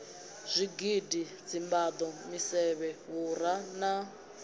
zwigidi dzimbado misevhe vhura na